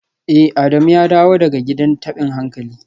Eh Adamu ya dawo daga gidan tabin hankali